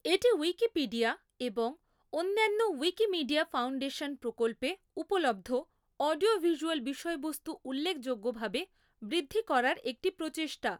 এটি উইকিপিডিয়া এবং অন্যান্য উইকিমিডিয়া ফাউন্ডেশন প্রকল্পে উপলব্ধ অডিও ভিজ্যুয়াল বিষয়বস্তু উল্লেখযোগ্যভাবে বৃদ্ধি করার একটি প্রচেষ্টা।